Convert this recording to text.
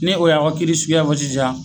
Ni o y'aw ka kiiri suguya fɔ sisan